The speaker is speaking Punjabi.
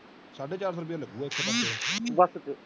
ਸਾਡੇ ਚਾਰ ਸੋ ਰੁਪਇਆ ਲਾਗੂਅਗਾ ਇਥੋਂ ਤੱਕ